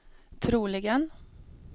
troligen